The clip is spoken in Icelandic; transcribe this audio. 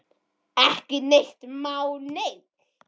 Ekki neitt má neinn!